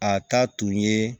A ta tun ye